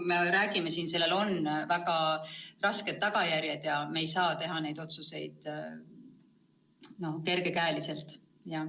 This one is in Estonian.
Aga sellel on väga rasked tagajärjed ja me ei saa teha neid otsuseid kerge käega.